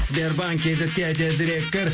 сбербанк кейзетке тезірек кір